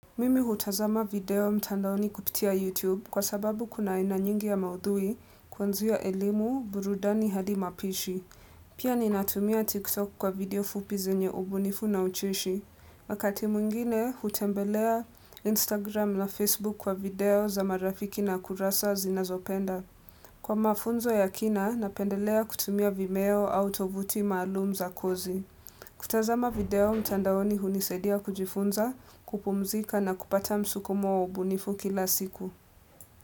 Mimi hutazama video mtandaoni kupitia YouTube kwa sababu kuna aina nyingi ya maudhui kuanzia elimu burudani hadi mapishi. Pia ni natumia TikTok kwa video fupi zenye ubunifu na ucheshi. Wakati mwingine hutembelea Instagram na Facebook kwa video za marafiki na kurasa zinazopenda. Kwa mafunzo ya kina, napendelea kutumia vimeo au tovuti malum za kozi. Kutazama video mtandaoni hunisaidia kujifunza, kupumzika na kupata msukumo wa ubunifu kila siku.